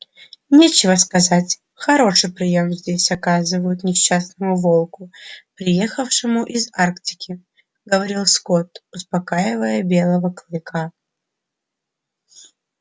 нечего сказать хороший приём здесь оказывают несчастному волку приехавшему из арктики говорил скотт успокаивая белого клыка